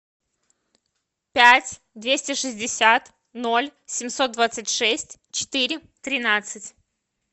пять двести шестьдесят ноль семьсот двадцать шесть четыре тринадцать